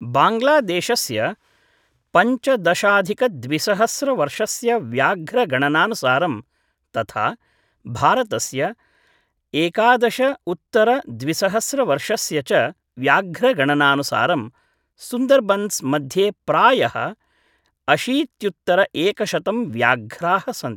बाङ्ग्लादेशस्य पञ्चदशाधिक द्विसहस्र वर्षस्य व्याघ्र गणनानुसारं, तथा भारतस्य एकादश उत्तर द्विसहस्र वर्षस्य च व्याघ्र गणनानुसारं, सुन्दर्बन्स् मध्ये प्रायः अशीत्युत्तर एकशतं व्याघ्राः सन्ति।